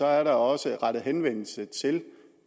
er der også rettet henvendelse til